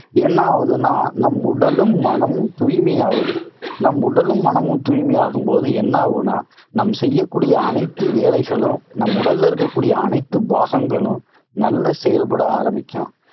என்ன ஆவுதுன்னா, நம் உடலும் மனமும் தூய்மையாவுது. நம் உடலும் மனமும் தூய்மையாகும் போது என்ன ஆகும்னா, நாம் செய்யக்கூடிய அனைத்து வேலைகளும் நம் உடல்ல இருக்ககூடிய அனைத்து பாகங்களும் நல்லா செயல்பட ஆரம்பிக்கும்.